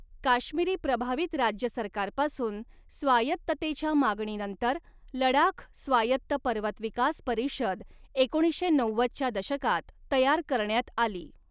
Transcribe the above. काश्मिरी प्रभावित राज्य सरकारपासून स्वायत्ततेच्या मागणीनंतर लडाख स्वायत्त पर्वत विकास परिषद एकोणीसशे नव्वदच्या दशकात तयार करण्यात आली.